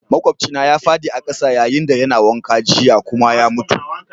Maƙwabcina ya fadi a'kasa yayin da yana wanka jiya kuma ya mutu.